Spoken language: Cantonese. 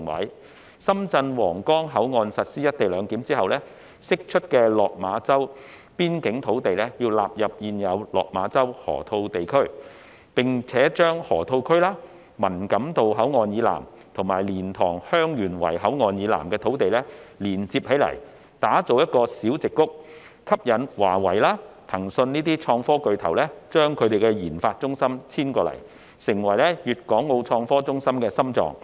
在深圳皇崗口岸實施"一地兩檢"後，釋出的落馬洲邊境土地應納入現有的落馬洲河套地區，並將河套區、文錦渡口岸以南及蓮塘/香園圍口岸以南的土地連接起來，打造成"小矽谷"，吸引華為及騰訊等創科巨頭將研發中心遷至該處，成為粤港澳創科中心的心臟。